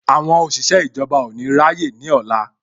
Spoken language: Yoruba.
Àwọn òṣìṣẹ́ ìjọba ò ní rá yé ní ọ̀la